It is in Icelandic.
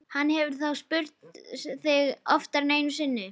Hann hefur þá spurt þig oftar en einu sinni?